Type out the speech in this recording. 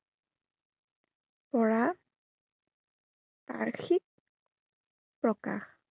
কৰা বাৰ্ষিক প্ৰকাশ।